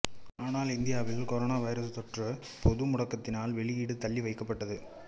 ஆனால் இந்தியாவில் கொரோனாவைரசுத் தொற்று பொது முடக்கத்தினால் வெளியீடு தள்ளிவைக்கப்பட்டது